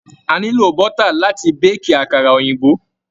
A nílò bọ́tà láti béèkì àkàrà òyìnbó.